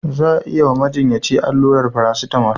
Za a yi wa majinyaci allurar farasitamol.